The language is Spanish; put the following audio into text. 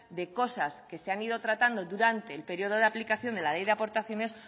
de cosas que se han ido tratando durante el periodo de aplicación de la ley de aportaciones